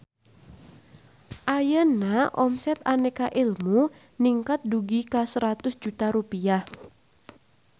Ayeuna omset Aneka Ilmu ningkat dugi ka 100 juta rupiah